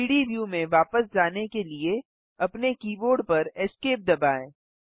3डी व्यू में वापस जाने के लिए अपने कीबोर्ड पर esc दबाएँ